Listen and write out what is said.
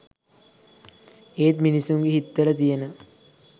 ඒත් මිනිසුන්ගෙ හිත්වල තියෙන